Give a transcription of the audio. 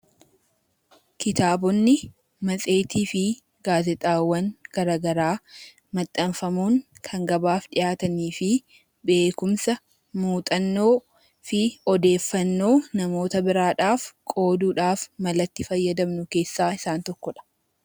Kitaabotni, matseetii fi gaazexaawwan maxxanfamuun kan gabaa dhiyaatanii fi beekumsa, muuxannoo fi odeeffannoo namoota biroof qooduuf mala itti fayyadamnu keessaa isaan tokkodha